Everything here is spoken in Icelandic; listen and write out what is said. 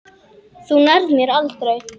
Þú nærð mér aldrei!